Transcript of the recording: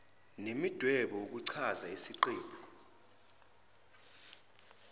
nemidwebo ukuchaza isiqephu